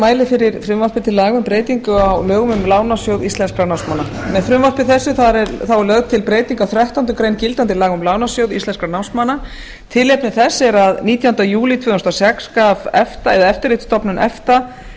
mæli fyrir frumvarpi til laga um breytingu á lögum um lánasjóð íslenskra námsmanna með frumvarpi þessu er lögð til breyting á þrettándu greinar gildandi laga um lánasjóð íslenskra námsmanna tilefni þess er að nítjánda júlí tvö þúsund og sex gaf eftirlitsstofnun efta